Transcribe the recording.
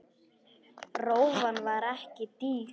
Rófan var ekki dýr.